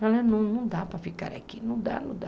Não dá para ficar aqui, não dá, não dá.